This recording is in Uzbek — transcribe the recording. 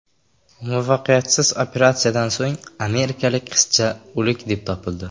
Muvaffaqiyatsiz operatsiyadan so‘ng amerikalik qizcha o‘lik deb topildi.